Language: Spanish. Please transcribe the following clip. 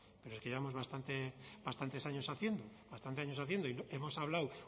pero que llevamos bastante bastantes años haciendo bastantes años haciendo y hemos hablado